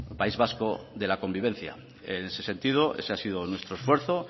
país vasco de la convivencia en ese sentido ese ha sido nuestro esfuerzo